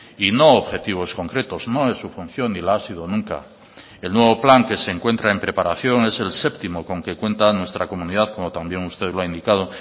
y no objetivos concretos no es su función ni la ha sido nunca el nuevo plan que se encuentra en preparación es el séptimo con que cuenta nuestra comunidad como también usted lo ha indicado